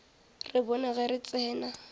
re bone ge re tsena